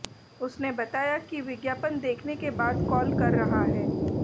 उसने बताया कि विज्ञापन देखने के बाद कॉल कर रहा है